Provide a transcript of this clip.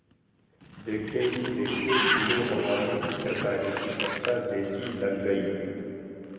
देखते ही देखते खुली हवा में चित्रकारी की कक्षा जैसी लग गई